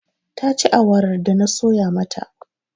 Ta ci awarar da na soya mata.